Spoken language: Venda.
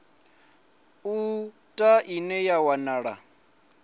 u ta ine ya wanala